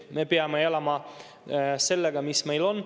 Me peame elama sellega, mis meil on.